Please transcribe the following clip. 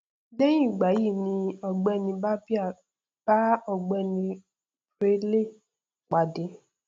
lẹhìn ìgbà yí ni ọgbẹni barbier bá ọgbẹni braille pàdé